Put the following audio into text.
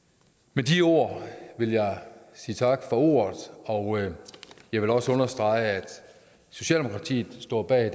med de ord vil jeg sige tak for ordet og jeg vil også understrege at socialdemokratiet står bag